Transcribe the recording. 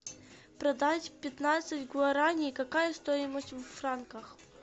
продать пятнадцать гуараней какая стоимость в франках